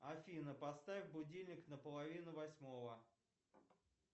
афина поставь будильник на половину восьмого